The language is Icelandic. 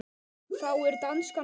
Þá er danskan betri.